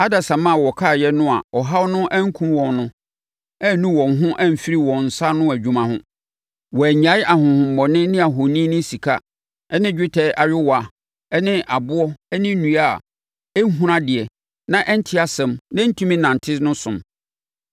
Adasamma a wɔkaeɛ no a ɔhaw no ankum wɔn no annu wɔn ho amfiri wɔn nsa ano nnwuma ho. Wɔannyae ahonhommɔne ne ahoni ne sika ne dwetɛ ne ayowaa ne aboɔ ne nnua a ɛnhunu adeɛ na ɛnte asɛm na ɛntumi nnante no som.